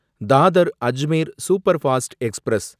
Dadar Ajmer superfast express